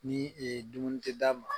Ni dumuni tɛ d'a ma